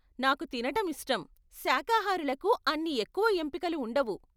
నాకు తినటం ఇష్టం, శాఖాహారులకు అన్ని ఎక్కువ ఎంపికలు ఉండవు.